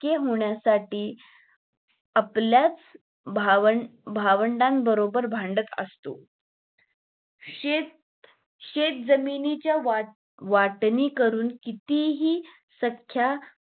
लाडके होण्यासाठी आपल्याच भावं भावंडा बरोबर भांडत असतो शेत शेतजमिनीच्या वाट वाटणी करून कितीही सख्या